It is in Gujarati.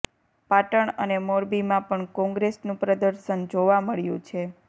પાટણ અને મોરબીમાં પણ કોંગ્રેસનું પ્રદર્શન જોવા મળ્યું છે